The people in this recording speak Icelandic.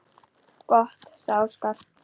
Gott, sagði Óskar.